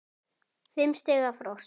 Fimm stiga frost.